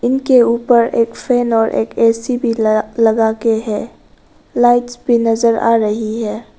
जिनके ऊपर एक फैन और एक ए_सी भी लगा लगाके है लाइट्स भी नजर आ रही है।